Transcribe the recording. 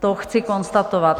To chci konstatovat.